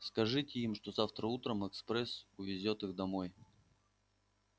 скажите им что завтра утром экспресс увезёт их домой